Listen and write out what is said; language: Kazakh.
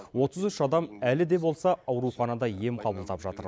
отыз үш адам әлі де болса ауруханада ем қабылдап жатыр